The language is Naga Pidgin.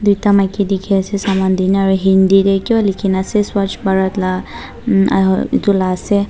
ekta maiki dekhi ase saman deh naa aro hindi teh kiba lekhina ase swaj bharat laga umm aro etu la ase.